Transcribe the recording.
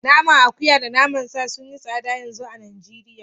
Naman akuya da naman sa sun yi tsada yanzu a Najeriya